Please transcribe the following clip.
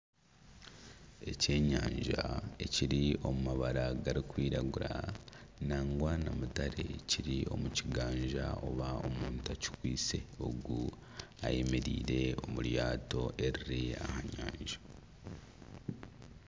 Ekyenyanja ekiri omu mabara garikwiragura nangwa na mutare kiri omu kigaaza oba omuntu akikwitse ogu ayemereire omu ryato eriri aha nyanja